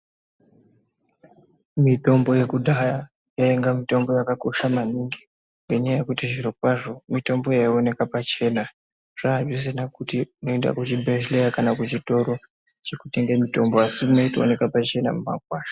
Mitombo yekudhaya yainga mitombo yakakosha maningi, ngenyaya yekuti zvirokwazvo ,mitombo yaioneka pachena. Zvaazvisina kuti unoenda kuchibhedhleya kana kuchitoro zvekutenge mitombo, asi imwe yaitooneke pachena mumakwasha.